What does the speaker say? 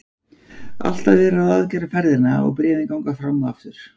Alltaf er verið að ráðgera ferðina og bréfin ganga fram og aftur.